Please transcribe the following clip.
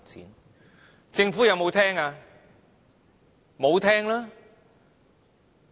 然而，政府有否聆聽？